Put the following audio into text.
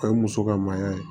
O ye muso ka mayya ye